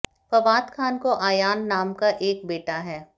फवाद खान को आयान नाम का एक बेटा है